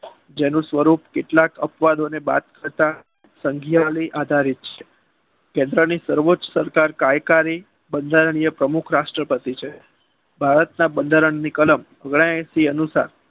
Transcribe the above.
જેનું સ્વરૂપ કેટલાક અપવાદોને બાદ કરતાં સંઘના આધારે છે. દેશની સર્વોચ્ચ સરકાર બંધારણીય પ્રમુખ રાષ્ટ્રપતિ છે. ભારતના બંધારણની કલમ અગનાએસી મુજબ